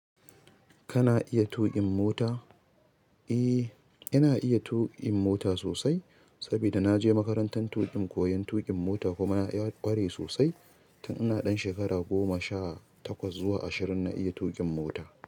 Kana iya tuƙin mota? Eh, ina iya tuƙin mota sosai sabida na je makarantan tuƙin koyan tuƙin mota kuma na i ƙware sosai. Tun ina ɗan shekara goma, sha takwas zuwa ashirin na iya tuƙin mota.